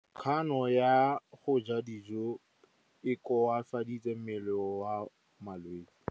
Kganô ya go ja dijo e koafaditse mmele wa molwetse.